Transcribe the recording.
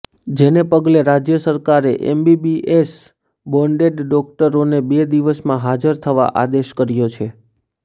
જેને પગલે રાજય સરકારે એમબીબીએસ બોન્ડેડ ડોકટરોને બે દિવસમાં હાજર થવા આદેશ કર્યો છે